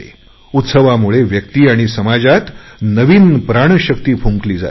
उत्सवामुळे व्यक्ती आणि समाजात नवचैतन्य येते